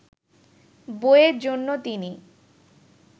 বইয়ের জন্য তিনি